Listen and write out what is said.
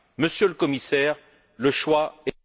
Monsieur le Commissaire, le choix est...